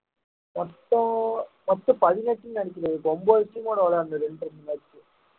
மொத்தம் மொத்தம் பதினெட்டுன்னு நினைக்கிறேன் இப்போ ஒன்பது team ஓட விளையாட இருந்தது